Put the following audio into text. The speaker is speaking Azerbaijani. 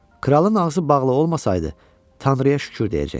Kralın ağzı bağlı olmasaydı, Tanrıya şükür deyəcəkdi.